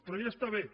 però ja està bé